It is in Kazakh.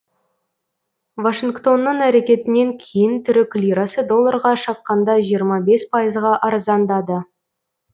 вашингтонның әрекетінен кейін түрік лирасы долларға шаққанда жиырма бес пайызға арзандады